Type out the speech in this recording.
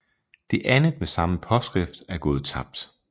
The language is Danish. Det andet med samme påskrift er gået tabt